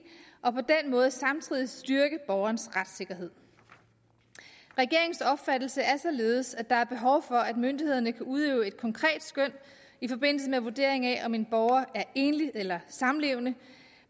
og på den måde samtidig styrke borgernes retssikkerhed regeringens opfattelse er således at der er behov for at myndighederne kan udøve et konkret skøn i forbindelse med vurderingen af om en borger er enlig eller samlevende